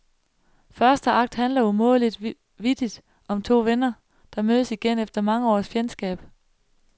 Første akt handler umådeligt vittigt om to venner, der mødes igen efter mange års fjendskab.